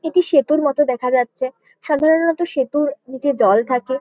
এটি সেতুর মতো দেখা যাচ্ছে । সাধারণত সেতুর নীচে জল থাকে ।